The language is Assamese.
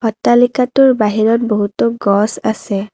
অট্টালিকাটোৰ বাহিৰত বহুতো গছ আছে।